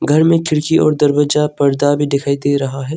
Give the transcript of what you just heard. घर में खिड़की और दरवाजा पर्दा भी दिखाई दे रहा है।